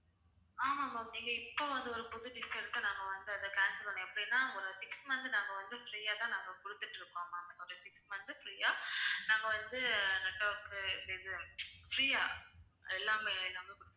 ஆமா ma'am நீங்க இப்போ வந்து ஒரு புது dish எடுத்தா நாங்க வந்து அதை cancel பண்ணுவோம் எப்படின்னா ஒரு six month நாங்க வந்து free யா தான் குடுத்துட்டு இருக்கோம் ma'am ஒரு six month free யா நாங்க வந்து network இது free யா எல்லாமே எல்லாமே குடுத்துட்டு